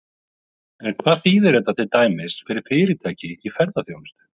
En hvað þýðir þetta til dæmis fyrir fyrirtæki í ferðaþjónustu?